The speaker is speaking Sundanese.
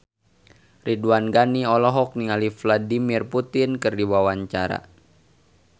Ridwan Ghani olohok ningali Vladimir Putin keur diwawancara